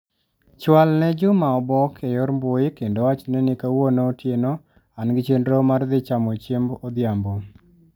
Chwal ne Juma obok e yor mbui kendo wachne ni kawuono otieno an gi chenro mar dhi chamo chiemb odhiambo.